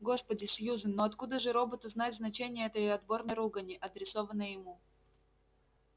господи сьюзен ну откуда же роботу знать значение этой отборной ругани адресованной ему